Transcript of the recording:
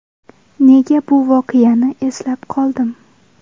Nega bu voqeani eslab qoldim?